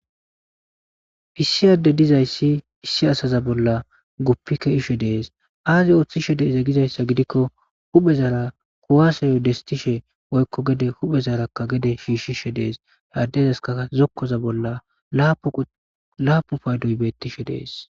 Issi adde dizayssi issi asaza bolla guppikke ishe dees aazi ooththishe deeze gizayssa gidikko huphezara kuwaaseyo destishe woykko gede huphezarakka gede shiishishe dees headdezaska zokkoza bolla laapu paydoy beettishe dees.